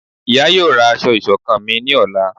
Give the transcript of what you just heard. ìyá yóò ra asọ iṣọkan mí ní Ọla